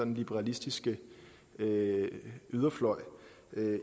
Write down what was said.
liberalistiske yderfløj